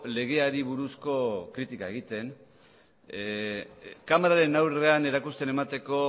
legeari buruzko kritika egiten kamararen aurrean erakusten emateko